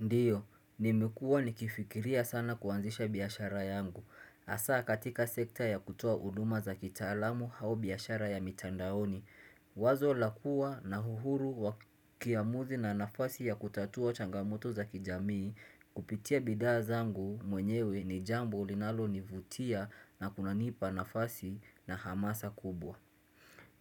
Ndiyo, nimekua nikifikiria sana kuanzisha biashara yangu. Hasa katika sekta ya kutoa uduma za kitaalamu hau biashara ya mitandaoni. Wazo la kua na uhuru wa kiamuzi na nafasi ya kutatua changamoto za kijamii kupitia bidhaa zangu mwenyewe ni jambo linalonivutia na kunanipa nafasi na hamasa kubwa.